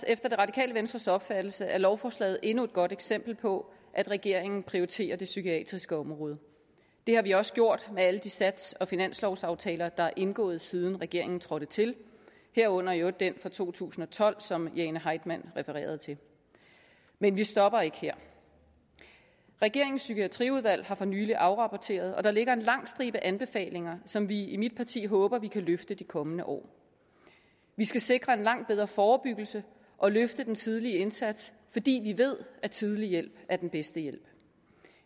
efter det radikale venstres opfattelse er lovforslaget endnu et godt eksempel på at regeringen prioriterer det psykiatriske område det har vi også gjort med alle de sats og finanslovsaftaler der er indgået siden regeringen trådte til herunder i øvrigt den fra to tusind og tolv som fru jane heitmann refererede til men vi stopper ikke her regeringens psykiatriudvalg har for nylig afrapporteret og der ligger en lang stribe anbefalinger som vi i mit parti håber at vi kan løfte de kommende år vi skal sikre en langt bedre forebyggelse og løfte den tidlige indsats fordi vi ved at tidlig hjælp er den bedste hjælp